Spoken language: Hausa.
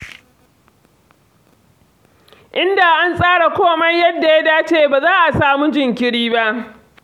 Inda an tsara komai yadda ya dace ba za a samu jinkiri ba.